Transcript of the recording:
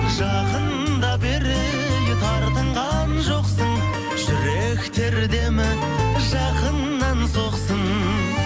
жақында бері ей тартынған жоқсың жүректер демі жақыннан соқсын